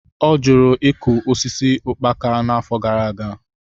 Ọ jụrụ ịkụ osisi ukpala n'afọ gara aga.